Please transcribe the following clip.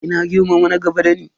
Ina girmama na gaba dani.